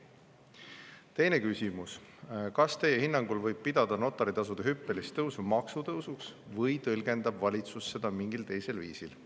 Teine küsimus: "Kas Teie hinnangul võib pidada notari tasude hüppelist tõusu maksutõusuks või tõlgendab valitsus seda mingil teisel viisil?